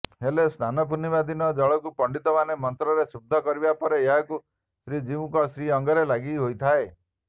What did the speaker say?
ହେଲେ ସ୍ନାନପୂର୍ଣ୍ଣିମା ଦିନ ଜଳକୁ ପଣ୍ଡିତମାନେ ମନ୍ତ୍ରରେ ଶୁଦ୍ଧ କରିବା ପରେ ଏହାକୁ ଶ୍ରୀଜିଉଙ୍କ ଶ୍ରୀଅଙ୍ଗରେ ଲାଗି ହୋଇଥାଏ